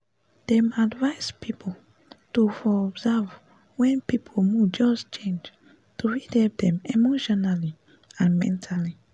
dem advice people to for observe wen people mood just change to fit help dem emotionally and mentally